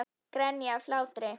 Grenja af hlátri.